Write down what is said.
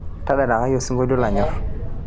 tadalai isinkoliotin lanyor